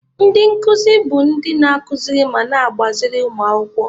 Ndị nkuzi bụ ndị na-akụziri ma na-agbaziri ụmụ akwụkwọ.